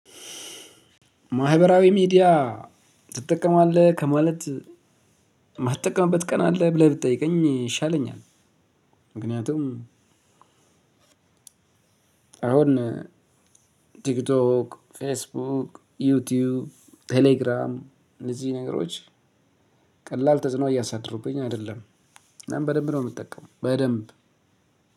ማህበራዊ ሚዲያ ትጠቀማለህ ከማለት የማትጠቀምበት ቀን አለ ብለህ ብትጠይቀኝ ይሻለኛል። ምክንያቱም አሁን ቲክቶክ ፌስቡክ ዩቲዩብ ቴሌግራም እዚህ ነገሮች ቀላል ተጽዕኖ እያሳደሩብኝ አይደለም። እናም በደንብ ነው የምጠቀመው በደንብ